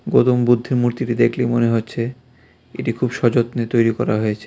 গৌতম বুদ্ধের মূর্তিটি দেখলে মনে হচ্ছে এটি খুব সযত্নে তৈরি করা হয়েছে.